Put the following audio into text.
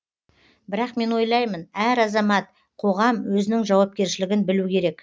бірақ мен ойлаймын әр азамат қоғам өзінің жауапкершілігін білу керек